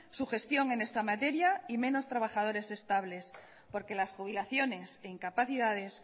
su gestión en esta materia y menos trabajadores estables porque las jubilaciones e incapacidades